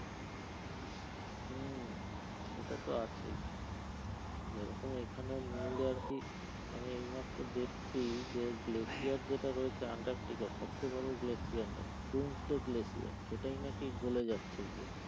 হম সেটা তো আছেই যেরকম এখানে news এ আর কি আমি এইমাত্র দেখছি যে glacier যেটা রয়েছে আন্টার্টিকার সবচেয়ে বড় glacier doomsday glacier সেটাই নাকি গলে যাচ্ছে গিয়ে,